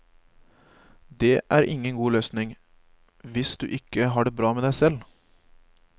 Det er ingen løsning, hvis du ikke har det bra med deg selv.